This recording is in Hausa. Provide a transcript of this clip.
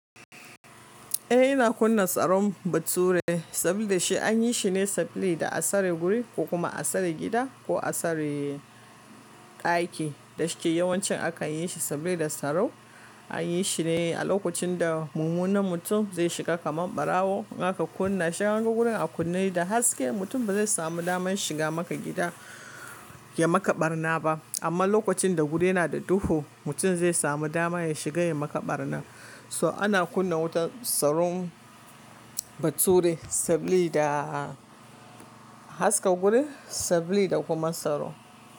Eh, ina kunna tsaron bature saboda shi an yi shi ne saboda a tsare guri ko kuma a tsare gida ko a tsare daki. Dashi yawanci akan yi shi saboda tsaro. An yi shi ne a lokacin da mumunar mutum zai shiga kamar ɓarawo. In aka kunna shi, an ga gudun a kunne da haske, mutum ba zai samu damar shiga maka gida ya maka ɓarna ba. Amma lokacin da guri yana da duhu, mutum zai samu dama ya shiga ya maka ɓarna. So ana kunna wutan tsaron bature saboda haska guri saboda kuma tsaro.